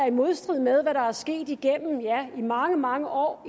i modstrid med hvad der er sket igennem mange mange år